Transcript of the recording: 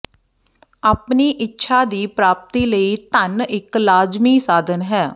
ਆਪਣੀ ਇੱਛਾ ਦੀ ਪ੍ਰਾਪਤੀ ਲਈ ਧੰਨ ਇੱਕ ਲਾਜਮੀ ਸਾਧਨ ਹੈ